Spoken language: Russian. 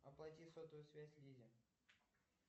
оплати сотовую связь лизе